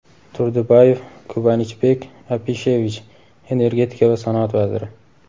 Turdubayev Kubanichbek Apishevich Energetika va sanoat vaziri;.